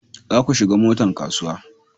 za ku shiga motan kasuwa